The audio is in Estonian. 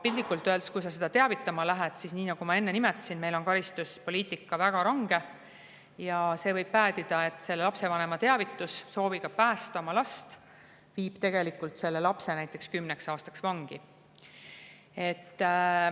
Piltlikult öeldes, kui sa seda teavitama lähed – nagu ma enne nimetasin, on meil karistuspoliitika väga range –, siis võib see päädida sellega, et lapsevanema teavitus sooviga päästa oma last viib tegelikult lapse näiteks kümneks aastaks vangi.